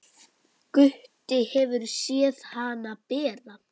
Gutti hefur séð hana bera.